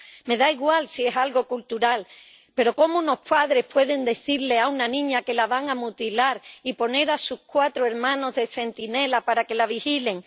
Me da igual si es algo cultural, pero ¿cómo unos padres pueden decirle a una niña que la van a mutilar y poner a sus cuatro hermanos de centinelas para que la vigilen?